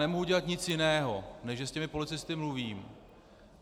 Nemohu udělat nic jiného, než že s těmi policisty mluvím.